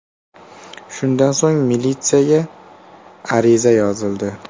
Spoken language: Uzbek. Shundan so‘ng, militsiyaga ariza yozildi.